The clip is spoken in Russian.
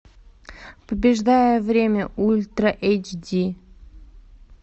побеждая время ультра эйч ди